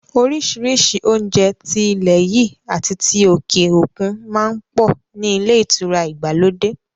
Orísìírísìí oúnjẹ ti ilẹ̀ yìí àti ti òkè òkun má ń pọ̀ ní ilé ìtura ìgbàlódé